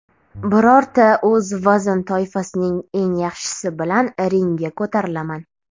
Birorta o‘z vazn toifasining eng yaxshisi bilan ringga ko‘tarilaman.